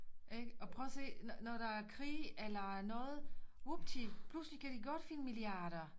Ikke og prøv at se når når der er krig eller noget wupti pludselig kan de godt finde milliarder